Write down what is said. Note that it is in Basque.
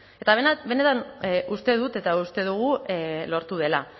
eta benetan uste dut eta uste dugu lortu dela